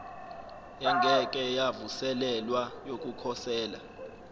engeke yavuselelwa yokukhosela